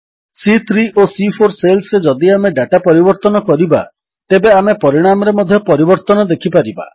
ସି3 ଓ ସି4 ସେଲ୍ସରେ ଯଦି ଆମେ ଡାଟା ପରିବର୍ତ୍ତନ କରିବା ତେବେ ଆମେ ପରିଣାମରେ ମଧ୍ୟ ପରିବର୍ତ୍ତନ ଦେଖିପାରିବା